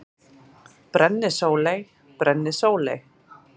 Brennisóley: Brennisóley.